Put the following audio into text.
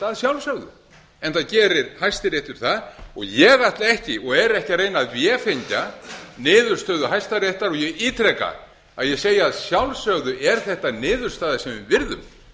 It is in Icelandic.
að sjálfsögðu eða gerir hæstiréttur það ég ætla ekki og er ekki að reyna að vefengja niðurstöðu hæstaréttar og ég ítreka að ég segi að sjálfsögðu er þetta niðurstaða sem við virðum